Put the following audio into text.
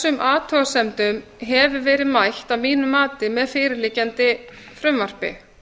þessum athugasemdum hefur verið mætt að mínu mati með fyrirliggjandi frumvarpi